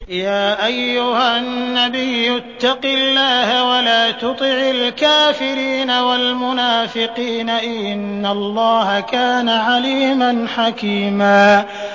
يَا أَيُّهَا النَّبِيُّ اتَّقِ اللَّهَ وَلَا تُطِعِ الْكَافِرِينَ وَالْمُنَافِقِينَ ۗ إِنَّ اللَّهَ كَانَ عَلِيمًا حَكِيمًا